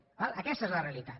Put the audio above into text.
d’acord aquesta és la realitat